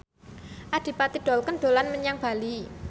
Adipati Dolken dolan menyang Bali